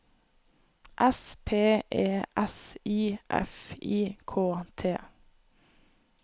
S P E S I F I K T